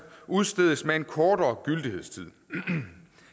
år udstedes med en kortere gyldighedstid